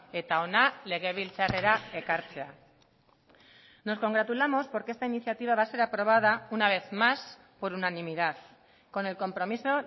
eta hona legebiltzarrera ekartzea nos congratulamos porque esta iniciativa va a ser aprobada una vez más por unanimidad con el compromiso